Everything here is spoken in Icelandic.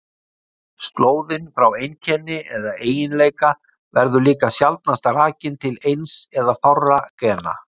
Slóðin frá einkenni eða eiginleika verður líka sjaldnast rakin til eins eða fárra gena.